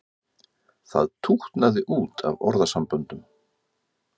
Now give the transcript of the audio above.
Það tútnaði út af orðasamböndum.